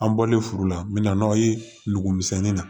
An bɔlen furu la n mɛna n'aw ye n dugumisɛnnin na